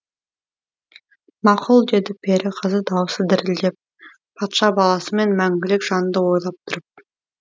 мақұл деді пері қызы даусы дірілдеп патша баласымен мәңгілік жанды ойлап тұрып